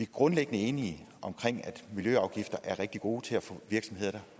grundlæggende enige om at miljøafgifter er rigtig gode til at få virksomheder